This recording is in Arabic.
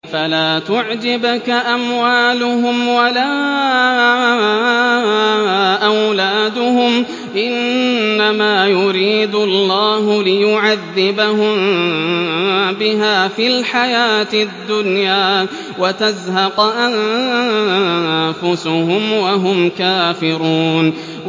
فَلَا تُعْجِبْكَ أَمْوَالُهُمْ وَلَا أَوْلَادُهُمْ ۚ إِنَّمَا يُرِيدُ اللَّهُ لِيُعَذِّبَهُم بِهَا فِي الْحَيَاةِ الدُّنْيَا وَتَزْهَقَ أَنفُسُهُمْ وَهُمْ كَافِرُونَ